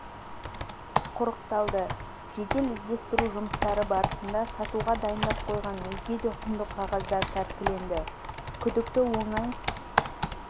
құрықталды жедел іздестіру жұмыстары барысында сатуға дайындап қойған өзге де құнды қағаздар тәркіленді күдікті оңай